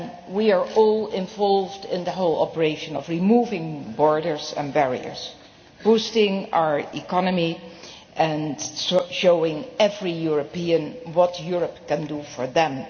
We are all involved in the whole operation of removing borders and barriers, boosting our economy and showing every European what Europe can do for them.